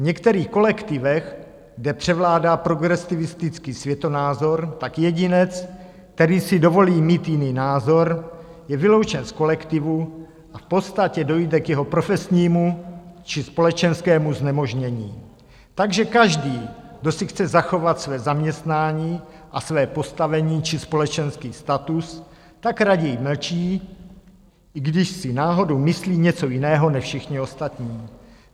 V některých kolektivech, kde převládá progresivistický světonázor, tak jedinec, který si dovolí mít jiný názor, je vyloučen z kolektivu, v podstatě dojde k jeho profesnímu či společenskému znemožnění, takže každý, kdo si chce zachovat své zaměstnání a své postavení či společenský status, tak raději mlčí, i když si náhodou myslí něco jiného než všichni ostatní.